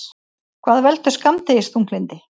Hvað veldur skammdegisþunglyndi?